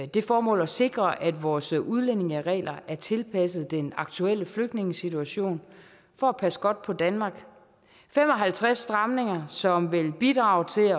det formål at sikre at vores udlændingeregler er tilpasset den aktuelle flygtningesituation for at passe godt på danmark fem og halvtreds stramninger som vil bidrage til